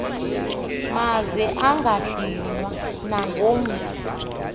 maze angadinwa nangomso